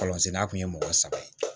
Palan senna tun ye mɔgɔ saba ye